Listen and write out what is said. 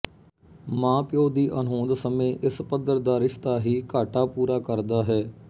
ਮਾਂ ਪਿਉ ਦੀ ਅਣਹੋਂਦ ਸਮੇਂ ਇਸ ਪੱਧਰ ਦਾ ਰਿਸ਼ਤਾ ਹੀ ਘਾਟਾ ਪੂਰਾ ਕਰਦਾ ਹੈ